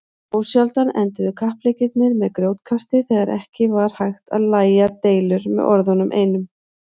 Ósjaldan enduðu kappleikirnir með grjótkasti þegar ekki var hægt að lægja deilur með orðunum einum.